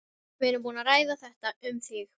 Við erum búin að ræða þetta. um þig.